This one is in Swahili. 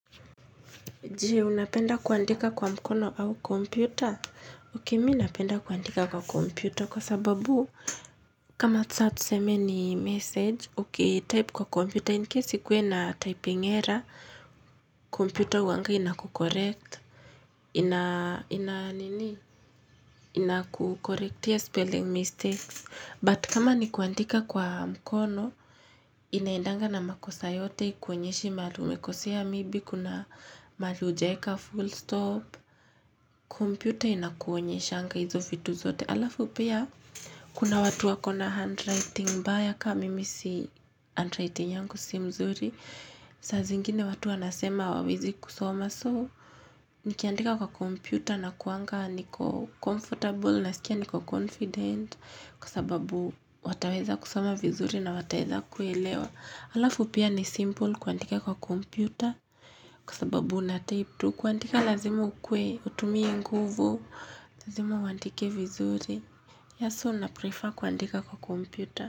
Je, unapenda kuandika kwa mkono au kompyuta? Ok, mi napenda kuandika kwa kompyuta kwa sababu kama sa tuseme ni message, uki type kwa kompyuta. Incase kwe na typing error, kompyuta uwanga ina kucorrect. Ina, ina, nini? Ina kukorektia spelling mistakes. But kama ni kuandika kwa mkono, inaedanga na makosa yote ikwenyeshi mali umekosea maybe, kuna mali ujaeka full stop. Kompyuta inakuonyeshanga hizo vitu zote. Alafu pia kuna watu wakona handwriting mbaya ka mimi si handwriting yangu si mzuri. Sazingine watu wanasema awawezi kusoma so. Nikiandika kwa kompyuta nakuanga niko comfortable na sikia niko confident. Kwa sababu wataweza kusoma vizuri na wataeza kuelewa. Alafu pia ni simple kuandika kwa kompyuta. Kwa sababu natype tu kuandika lazima ukue utumie nguvu. Lazima uwandike vizuri. Yes, so naprefer kuandika kwa kompyuta.